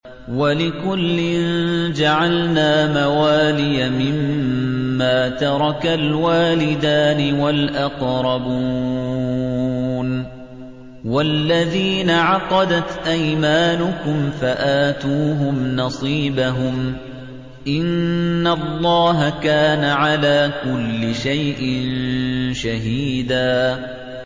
وَلِكُلٍّ جَعَلْنَا مَوَالِيَ مِمَّا تَرَكَ الْوَالِدَانِ وَالْأَقْرَبُونَ ۚ وَالَّذِينَ عَقَدَتْ أَيْمَانُكُمْ فَآتُوهُمْ نَصِيبَهُمْ ۚ إِنَّ اللَّهَ كَانَ عَلَىٰ كُلِّ شَيْءٍ شَهِيدًا